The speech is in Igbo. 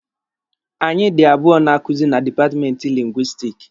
Anyị dị abụọ na-akuzi na dipatmenti Lingwisitiki.